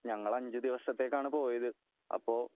ഞങ്ങൾ അഞ്ച് ദിവസത്തേക്കാണ് പോയത് അപ്പോ